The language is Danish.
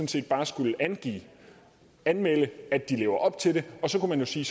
set bare skulle anmelde at de lever op til det og så kunne man sige